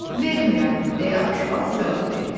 Vermirəm, deyə aşbaz cavab verdi.